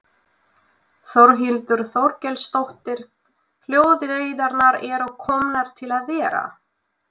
Þórhildur Þorkelsdóttir: Hjólreiðarnar eru komnar til að vera?